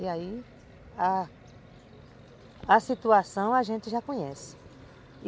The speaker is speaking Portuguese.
E aí, a situação a gente já conhece.